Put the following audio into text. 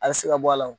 A bɛ se ka bɔ a la